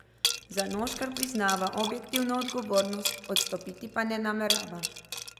Zanoškar priznava objektivno odgovornost, odstopiti pa ne namerava.